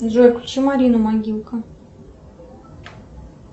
джой включи марину могилка